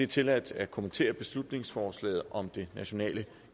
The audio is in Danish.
tilladt at kommentere beslutningsforslaget om det nationale